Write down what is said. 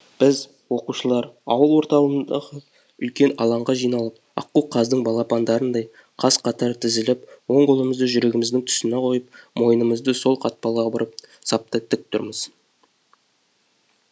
біз оқушылар ауыл орталығындағы үлкен алаңға жиналып аққу қаздың балапандарындай қаз қатар тізіліп оң қолымызды жүрегіміздің тұсына қойып мойнымызды сол қапталға бұрып сапта тік тұрмыз